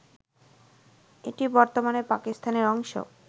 এটি বর্তমানে পাকিস্তানের অংশ